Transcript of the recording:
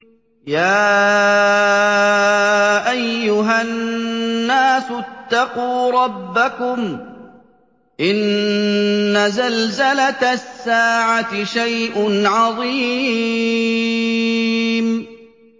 يَا أَيُّهَا النَّاسُ اتَّقُوا رَبَّكُمْ ۚ إِنَّ زَلْزَلَةَ السَّاعَةِ شَيْءٌ عَظِيمٌ